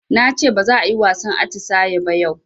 Nace baza ayi wasan atisaye ba yau